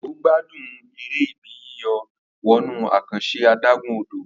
Debo gbádùn èrè Ibi yíyọ̀ wọnú àkànṣe adágún-odò